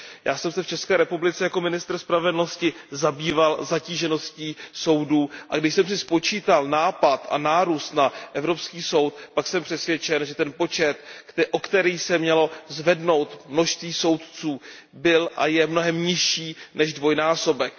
Já jsem se v České republice jako ministr spravedlnosti zabýval zatížeností soudů, a když jsem si spočítal nápor a nárůst na Evropský soudní dvůr, tak jsem přesvědčen, že ten počet, o který se mělo zvednout množství soudců, byl a je mnohem nižší než dvojnásobek.